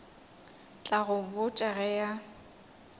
tla go botša ge a